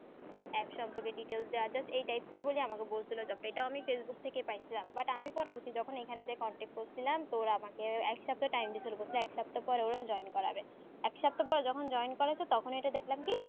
একসঙ্গে details দিয়া just এই type এর বলে আমাকে বল ছিলো দেখ এইটা আমি facebook থেকে পাইছিলাম but আমি পরবর্তী যখন এইখানে যে contact পেয়েছিলাম তো আমাকে একসপ্তাহ time দিছিলো একসপ্তা পর ওরা join করাবে একসপ্তা পর যখন join করা বে তখন এটা দেখলাম কি